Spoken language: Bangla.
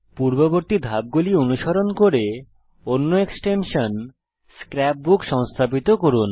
পূর্ববর্তী ধাপগুলি অনুসরণ করে অন্য এক্সটেনশান স্ক্র্যাপ বুক সংস্থাপিত করুন